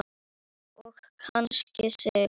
Og kann sig.